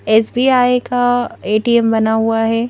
SBI का ATM बना हुआ है।